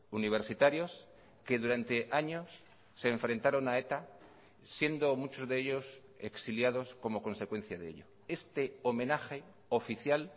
universitarios que durante años se enfrentaron a eta siendo muchos de ellos exiliados como consecuencia de ello este homenaje oficial